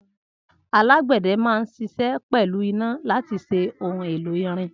Alàgbéde ma n sise pelu iná lati ṣe ohun èlò irin